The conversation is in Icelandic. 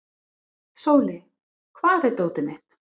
Sóli, hvar er dótið mitt?